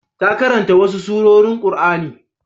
Ta karanta wasu surorin Qur'ani.